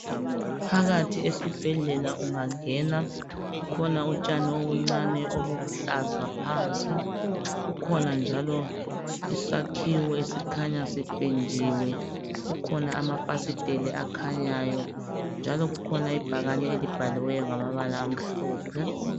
Phakathi esibhedlela ungangena kukhona utshani obuncane obuluhlaza phansi kukhona njalo isakhiwo esikhanya sipendiwe kukhona amafasiteli akhanyayo njalo kukhona ibhakane elibhaliweyo ngamabala amhlophe.